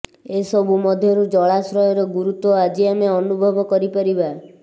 ଏସବୁ ମଧ୍ୟରୁ ଜଳାଶୟର ଗୁରୁତ୍ବ ଆଜି ଆମେ ଅନୁଭବ କରିପାରିବା